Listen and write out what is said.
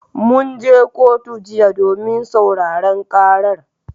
Mun je kotu jiya domin sauraron karar.